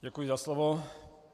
Děkuji za slovo.